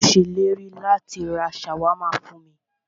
Ó ṣèlérí láti rá ṣàwámà fún mí.